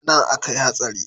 Anan akai hatsari?